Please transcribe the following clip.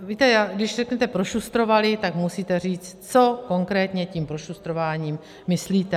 Víte, když řeknete prošustrovali, tak musíte říct, co konkrétně tím prošustrováním myslíte.